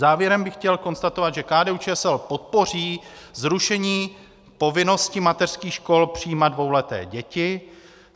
Závěrem bych chtěl konstatovat, že KDU-ČSL podpoří zrušení povinnosti mateřských škol přijímat dvouleté děti.